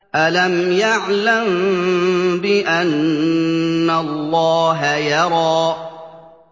أَلَمْ يَعْلَم بِأَنَّ اللَّهَ يَرَىٰ